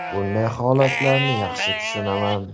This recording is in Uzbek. Bunday holatlarni yaxshi tushunaman.